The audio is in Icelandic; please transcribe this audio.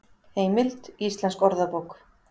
Heimild: Íslensk orðabók.